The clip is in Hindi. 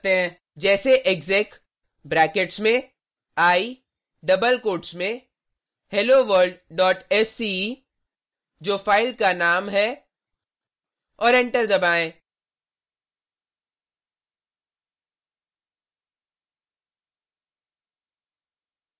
जैसे exec ब्रैकेट्स में i डबल कोट्स में helloworldsce जो फ़ाइल का नाम है और एंटर दबाएँ